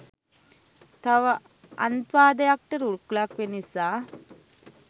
තව අන්ත්වාදයක්ට රුකුලක් වෙන නිසා.